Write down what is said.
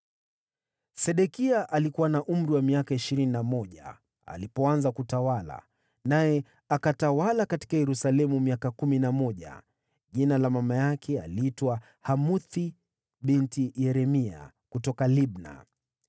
Sedekia alikuwa na umri wa miaka ishirini na mmoja alipoanza kutawala, naye akatawala huko Yerusalemu miaka kumi na mmoja. Jina la mama yake aliitwa Hamutali binti Yeremia, kutoka Libna.